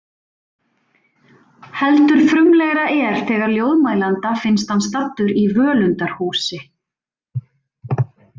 Heldur frumlegra er þegar ljóðmælanda finnst hann staddur í völundarhúsi